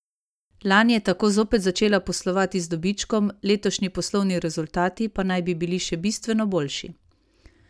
Lani je tako zopet začela poslovati z dobičkom, letošnji poslovni rezultati pa naj bi bili še bistveno boljši.